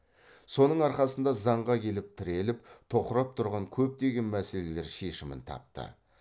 соның арқасында заңға келіп тіреліп тоқырап тұрған көптеген мәселелер шешімін тапты